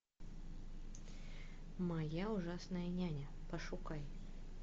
моя ужасная няня пошукай